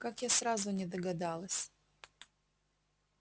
как я сразу не догадалась